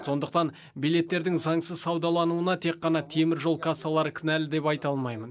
сондықтан билеттердің заңсыз саудалануына тек қана темір жол кассалары кінәлі деп айта алмаймын